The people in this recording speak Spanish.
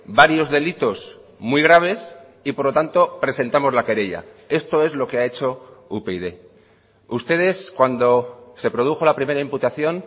varios delitos muy graves y por lo tanto presentamos la querella esto es lo que ha hecho upyd ustedes cuando se produjo la primera imputación